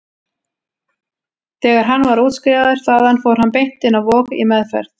Þegar hann var útskrifaður þaðan fór hann beint inn á Vog, í meðferð.